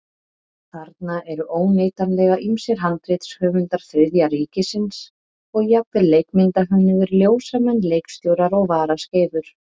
Þarna eru óneitanlega ýmsir handritshöfundar Þriðja ríkisins og jafnvel leikmyndahönnuðir, ljósamenn, leikstjórar og varaskeifur.